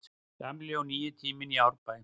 Gamli og nýi tíminn í Árbæ